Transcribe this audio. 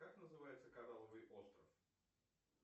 как называется коралловый остров